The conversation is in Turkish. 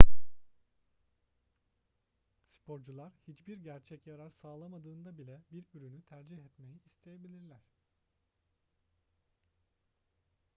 sporcular hiçbir gerçek yarar sağlamadığında bile bir ürünü tercih etmeyi isteyebilirler